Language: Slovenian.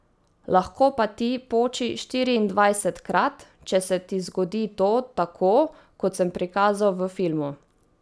Lahko pa ti poči štiriindvajsetkrat, če se ti zgodi to tako, kot sem prikazal v filmu ...